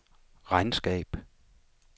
regnskab